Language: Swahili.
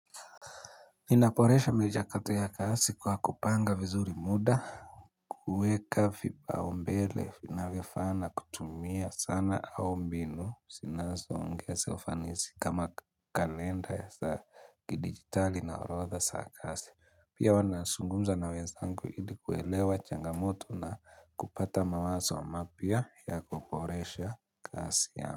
Ninaboresha michakato ya kazi kwa kupanga vizuri muda kuweka vipaumbele vinavyofaa na kutumia sana au mbinu zinazongeza ufanisi kama kalenda za kidigitali na urodha saa kazi Pia huwa nazungumza na wenzangu ili kuelewa changamoto na kupata mawazo wa mapya ya kuboresha kazi yangu.